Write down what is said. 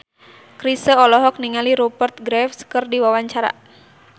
Chrisye olohok ningali Rupert Graves keur diwawancara